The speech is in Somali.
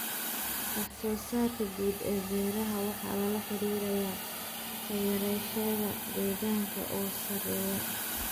Wax-soo-saarka guud ee beeraha waxaa lala xiriiriyaa kharashyada deegaanka oo sarreeya.